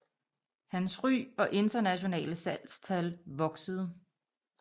Hans ry og internationale salgstal voksede